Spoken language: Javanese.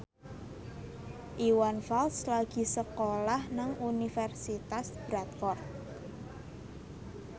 Iwan Fals lagi sekolah nang Universitas Bradford